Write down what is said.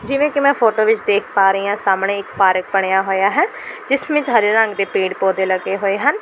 ਜਿਵੇਂ ਕਿ ਮੈਂ ਫੋਟੋ ਵਿਚ ਦੇਖ ਪਾ ਰਹੀਂ ਹਾਂ ਸਾਹਮਣੇ ਇੱਕ ਪਾਰਕ ਬਣਿਆ ਹੋਇਆ ਹੈ ਜਿਸ ਵਿੱਚ ਹਰੇ ਰੰਗ ਦੇ ਪੇੜ੍ਹ ਪੌਦੇ ਲੱਗੇ ਹੋਏ ਹਨ।